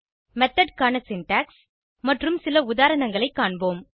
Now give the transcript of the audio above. method க்கான syntax மற்றும் சில உதாரணங்களை காண்போம்